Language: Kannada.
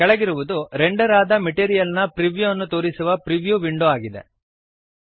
ಕೆಳಗಿರುವದು ರೆಂಡರ್ ಆದ ಮೆಟೀರಿಯಲ್ ನ ಪ್ರಿವ್ಯೂಅನ್ನು ತೋರಿಸುವ ಪ್ರಿವ್ಯೂ ವಿಂಡೋ ಆಗಿದೆ